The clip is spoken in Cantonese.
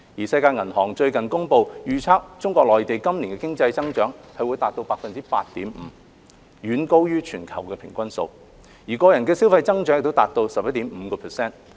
世界銀行最近公布，預測中國內地今年經濟增長達 8.5%， 遠高於全球的平均數，個人消費的增長亦達到 11.5%。